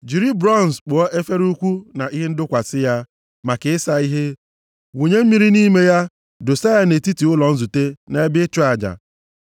“Jiri bronz kpụọ efere ukwu na ihe ndọkwasị ya, maka ịsa ihe. Wụnye mmiri nʼime ya, dọsa ya nʼetiti ụlọ nzute na ebe ịchụ aja.